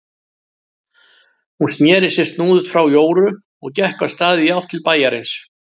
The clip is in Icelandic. Hún sneri sér snúðugt frá Jóru og gekk af stað í átt til bæjarins.